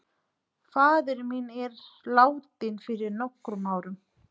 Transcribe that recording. Faðir minn er látinn fyrir nokkrum árum.